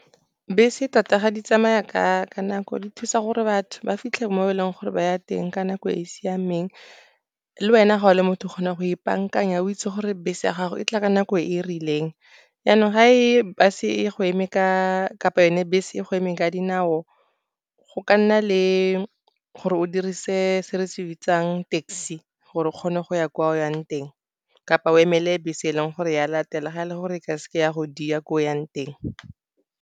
Bese tota ga di tsamaya ka nako, di thusa gore batho ba fitlhe mo e leng gore ba ya teng ka nako e e siameng, le wena ga o le motho o kgona go ipaakanya. O itse gore bese ya gago e tla ka nako e e rileng, yanong ga e bus-e go eme kapa yone bese e go eme ka dinao. Go ka nna le gore o dirise se re se bitsang taxi gore o kgone go ya kwa o yang teng, kapa o emele bese e leng gore ya latela, ga e le gore ke se ke ya go dia ko o yang teng.